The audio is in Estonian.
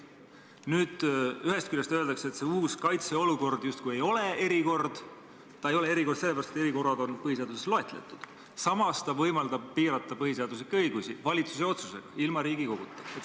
Nüüd, ühest küljest öeldakse, et see uus kaitseolukord justkui ei ole eriline olukord – ei ole sellepärast, et need olukorrad on põhiseaduses loetletud –, samas see võimaldab piirata põhiseaduslikke õigusi valitsuse otsusega, ilma Riigikoguta.